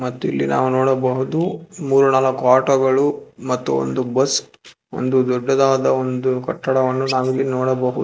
ಮತ್ತು ಇಲ್ಲಿ ನಾವು ನೋಡಬಹುದು ಮೂರು ನಾಲ್ಕು ಆಟೋ ಗಳು ಮತ್ತು ಒಂದು ಬಸ್ ಒಂದು ದೊಡ್ಡದಾದ ಒಂದು ಕಟ್ಟಡವನ್ನು ನಾವಿಲ್ಲಿ ನೋಡಬಹು --